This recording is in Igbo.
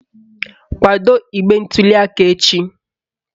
Kwado igbe ntuliaka echi